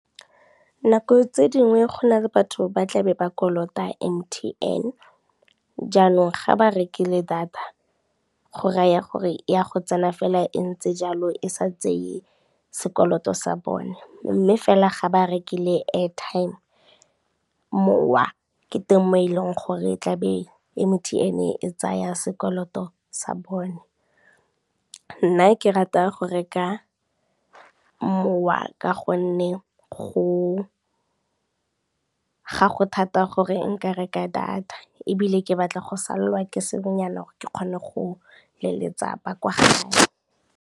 Nako tse dingwe go na le batho ba tla be ba kolota M_T_N, jaanong ga ba rekile data go raya gore e ya go tsena fela e ntse jalo e sa tseye sekoloto sa bone, mme fela ga ba rekile airtime, mowa ke teng mo e leng gore e tla be M_T_N e tsaya sekoloto sa bone. Nna ke rata go reka mowa ka gonne ga go thata gore nka reka data ebile ke batla go salelwa ke sengwenyana gore ke kgone go leletsa ba kwa gae.